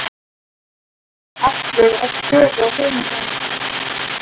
Þeir voru allir að skoða hina nemendurna.